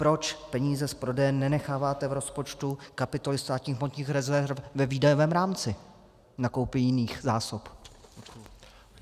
Proč peníze z prodeje nenecháváte v rozpočtu kapitoly státních hmotných rezerv ve výdajovém rámci na koupi jiných zásob?